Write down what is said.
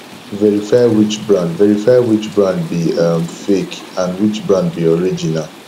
verify which brand verify which brand be um fake and which brand be original